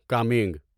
coming